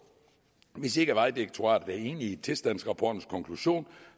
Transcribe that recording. og hvis ikke vejdirektoratet er enige i tilstandsrapportens konklusion